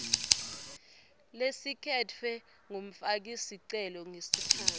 lelikhetfwe ngumfakisicelo ngesikhatsi